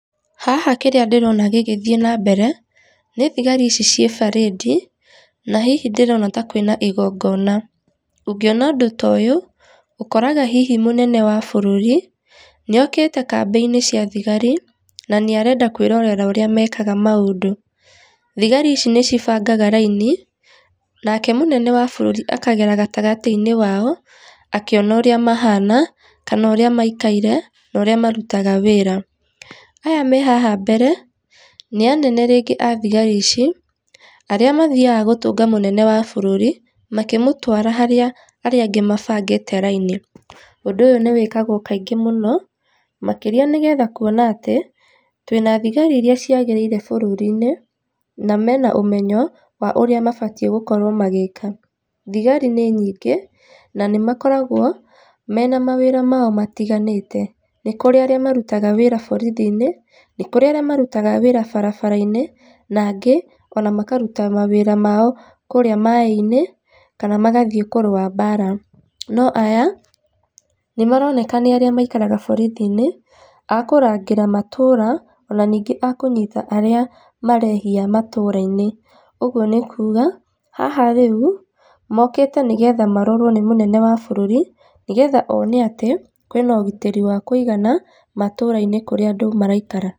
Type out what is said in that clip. Haha kĩrĩa ndĩrona gĩgĩthiĩ na mbere, nĩ thigari ici ciĩ barĩdi, na hihi ndĩrona ta kwĩna igongona. Ũngĩona ũndũ ta ũyũ, ũkoraga hihi mũnene wa bũrũri, nĩ okĩte kambĩ-inĩ cia thigari, na nĩ arenda kwĩrorera ũrĩa mekaga maũndũ. Thigari ici nĩ cibangaga raini, nake mũnene wa bũrũri akagera gatagatĩ-ini wao, akĩona ũrĩa mahana, kana ũrĩa maikaire, na ũrĩa marutaga wĩra. Aya me haha mbere, ni anene rĩngĩ a thigari ici, arĩa nĩo mathiaga gũtũnga mũnene wa bũrũri, makĩmũtwara harĩa arĩa angĩ mabangĩte raini. Ũndũ ũyũ nĩwĩkagwo kaingĩ mũno, makĩria nĩgetha kuona atĩ, twĩna thigari iria ciagĩrĩire bũrũri-inĩ, na mena ũmenyo wa ũrĩa mabatiĩ gũkorwo magĩĩka. Thigari nĩ nyingĩ, na nĩmakoragwo, mena mawĩra mao matiganĩte. Nĩ kũrĩ arĩa marutaga wĩra borithi-inĩ, nĩkũri arĩa marutaga wĩra barabara-inĩ, na angĩ ona makaruta mawĩra mao kũrĩa maaĩ-inĩ, kana magathiĩ kũrũa mbara. No aya, nĩ maroneka nĩarĩa maikaraga borithi-inĩ, akũrangĩra matũũra, ona nĩngĩ a kũnyita arĩa marehia matũũra-inĩ, ũguo nĩkuga, haha rĩu, mokĩte nĩgetha marorwo nĩ mũnene wa bũrũri, nĩgetha one atĩ, kwĩna ũgitĩri wa kũigana matũũra-inĩ kũrĩa andũ maraikara.